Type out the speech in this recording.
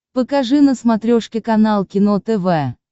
покажи на смотрешке канал кино тв